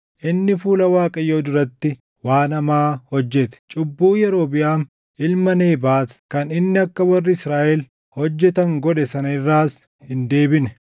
Inni fuula Waaqayyoo duratti waan hamaa hojjete; cubbuu Yerobiʼaam ilma Nebaat kan inni akka warri Israaʼel hojjetan godhe sana irraas hin deebine.